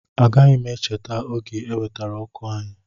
Agaghị m echeta oge e wetara ọkụ anyị